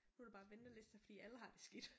Nu er der bare venteliste fordi alle har det skidt